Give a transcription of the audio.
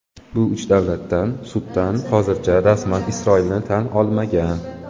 Bu uch davlatdan Sudan hozircha rasman Isroilni tan olmagan.